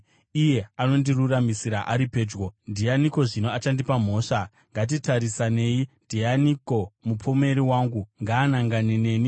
Iye anondiruramisira ari pedyo. Ndianiko zvino achandipa mhosva? Ngatitarisanei! Ndianiko mupomeri wangu? Ngaanangane neni!